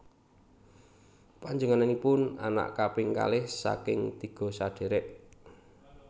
Panjénenganipun anak kaping kalih saking tiga sedhèrèk